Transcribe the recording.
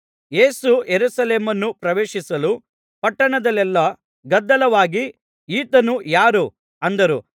ಯೇಸು ಯೆರೂಸಲೇಮನ್ನು ಪ್ರವೇಶಿಸಲು ಪಟ್ಟಣದಲ್ಲೆಲ್ಲಾ ಗದ್ದಲವಾಗಿ ಈತನು ಯಾರು ಅಂದರು